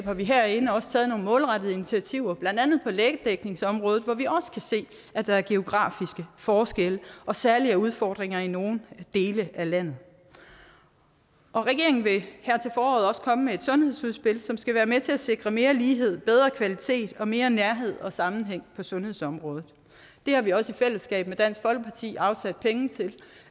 har vi herinde også taget nogle målrettede initiativer blandt andet på lægedækningsområdet hvor vi også kan se at der er geografiske forskelle og særlige udfordringer i nogle dele af landet regeringen vil her til foråret også komme med et sundhedsudspil som skal være med til at sikre mere lighed bedre kvalitet og mere nærhed og sammenhæng på sundhedsområdet det har vi også i fællesskab med dansk folkeparti afsat penge til